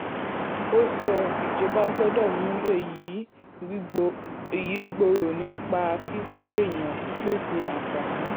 ó sọ: ìjọba gbọ́dọ̀ mú èyí gbòòrò nípa kíkọ́ èèyàn pípèsè àǹfààní.